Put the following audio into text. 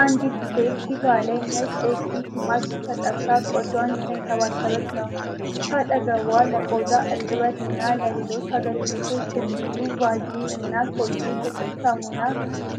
አንዲት ሴት ፊቷ ላይ ነጭ የፊት ማስክ ተቀብታ ቆዳዋን እየተከባከበች ነው። ከአጠገቧ ለቆዳ እርጥበትና ለሌሎች አገልግሎቶች የሚውሉ ቫልዚን እና ኮሊጌት የጥርስ ሳሙና